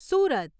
Surat